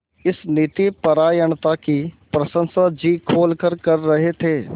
इस नीतिपरायणता की प्रशंसा जी खोलकर कर रहे थे